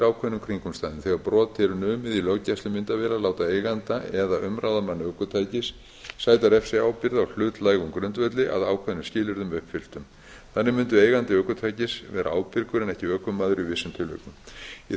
ákveðnum kringumstæðum þegar brot er numið í löggæslumyndavél að láta eiganda eða umráðamann ökutækis sæta refsiábyrgð á hlutlægum grundvelli að ákveðnum skilyrðum uppfylltum þannig mundi eigandi ökutækis vera ábyrgur en ekki ökumaður í vissum tilvikum í